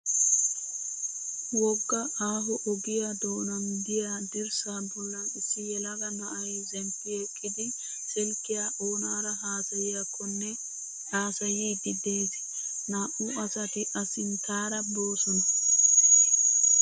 Wogga aaho ogiyaa doonan diyaa dirssaa bollan issi yelaga na'ayi zemppi eqqidi silkkiyaa onaara haasayiyaakkonne haasayiiddi des. Naa'u asati A sinttara boosona.